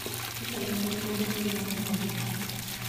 kaka nyamburko ma ting�o gombogi.